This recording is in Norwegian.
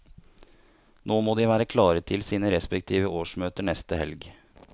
Nå må de være klare til sine respektive årsmøter neste helg.